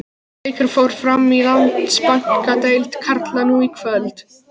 Einn leikur fór fram í Landsbankadeild karla nú í kvöld.